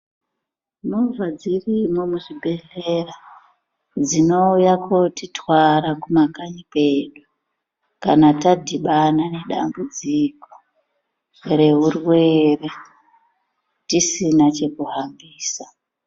Monha dzirimwo muzvibhedhlera, dzinouya kotitwara kumakanyi kwedu, kana tadhibana nedambudziko reurwere, tisina chekuhambisa.